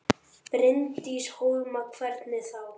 Bryndís Hólm: Hvernig þá?